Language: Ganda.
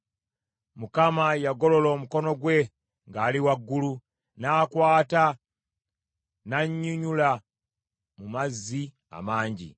Mukama yagolola omukono gwe ng’ali waggulu, n’ankwata n’annyinyulula mu mazzi amangi.